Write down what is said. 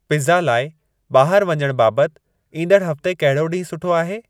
pizza लाइ ॿाहिर वञण बाबति ईंदड़ हफ़्ते कहिड़ो ॾींहुं सुठो आहे